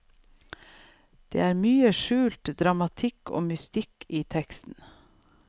Det er mye skjult dramatikk og mystikk i teksten.